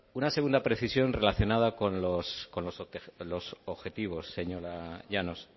una segunda precisión relacionada con los objetivos señora llanos